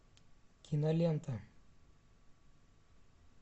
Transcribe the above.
кинолента